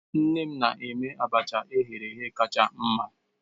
Nne m na-eme abacha eghereghe kacha mma.